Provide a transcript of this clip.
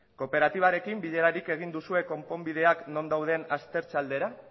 kooperatibarekin bilerarik egin duzue konponbideak non dauden aztertze aldera